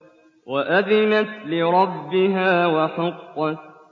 وَأَذِنَتْ لِرَبِّهَا وَحُقَّتْ